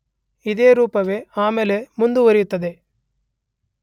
ಇದೇ ರೂಪವೇ ಆಮೇಲೆ ಮುಂದುವರಿಯುತ್ತದೆ.